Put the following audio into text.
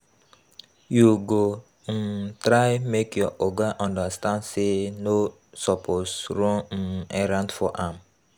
You go um try make your oga understand sey no suppose run um errands for am.